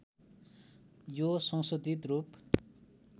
यो संशोधित रूप